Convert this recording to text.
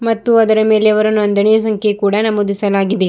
ಮತ್ತು ಅದರ ಮೇಲೆ ಅವರ ನೋಂದಣಿ ಸಂಖ್ಯೆಯನ್ನು ಕೂಡ ನಮೂದಿಸಲಾಗಿದೆ.